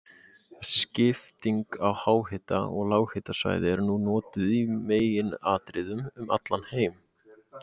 Þessi skipting í háhita- og lághitasvæði er nú notuð í meginatriðum um allan heim.